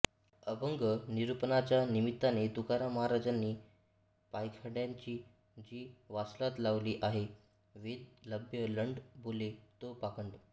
अभंगनिरूपणाच्या निमित्ताने तुकाराम महाजांनी पाखंड्यांची जी वासलात लावली आहे वेदबाह्य लंड बोले तो पाखण्ड